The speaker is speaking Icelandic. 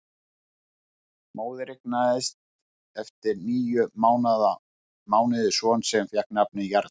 Móðir eignaðist eftir níu mánuði son sem fékk nafnið Jarl.